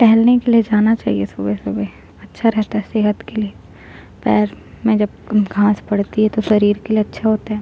टहलने के लिए जाना चाहिए सुबहे-सुबहे अच्छा रहता है सेहत के लिए पैर में जब घाँस पड़ती है तो शरीर के लिए अच्छा होता है।